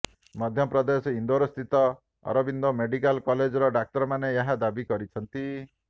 ମଧ୍ୟପ୍ରଦେଶ ଇନ୍ଦୋରସ୍ଥିତ ଅରବିନ୍ଦୋ ମେଡିକାଲ କଲେଜର ଡାକ୍ତରମାନେ ଏହି ଦାବି କରିଛନ୍ତି